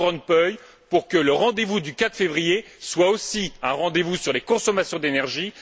M. Van Rompuy pour que le rendez vous du 4 février soit aussi un rendez vous sur les consommations d'énergie.